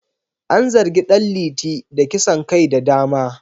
An zargi Dan liti da kisan kai da dama